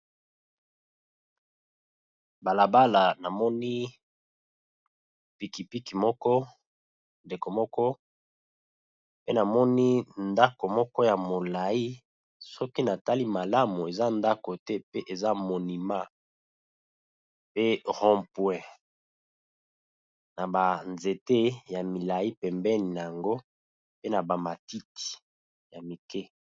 Bala bala, na moni piki piki moko, ndeko moko, pe na moni ndaku moko ya molayi . Soki na tali malamu eza ndaku te pe eza monument, pe rond point, na ba nzete ya milayi pembeni n'ango pe na bamatiti ya mike .